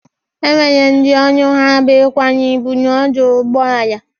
E nwere ndị ọrụ ha bụ ịkwanye ịbụ n'ọdụ ụgbọ ala.